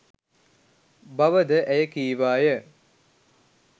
බව ද ඇය කීවාය.